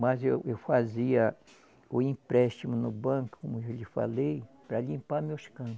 Mas eu eu fazia o empréstimo no banco, como eu já lhe falei, para limpar meus campos.